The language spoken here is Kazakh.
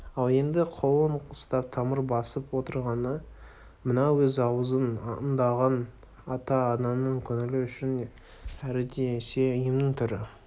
ал енді қолын ұстап тамыр басып отырғаны мына өз аузын аңдыған ата-ананың көңілі үшін әрі десе емнің түрін